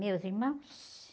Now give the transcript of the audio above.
Meus irmãos?